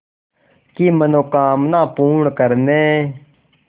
की मनोकामना पूर्ण करने